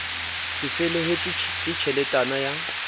c felehetswe ke tjheletana ya